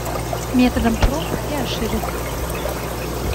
методом проб и ошибок